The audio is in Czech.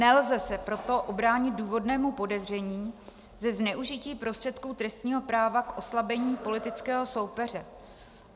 Nelze se proto ubránit důvodnému podezření ze zneužití prostředků trestního práva k oslabení politického soupeře.